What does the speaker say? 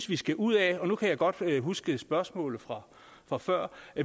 vi skal ud af nu kan jeg godt huske spørgsmålet fra fra før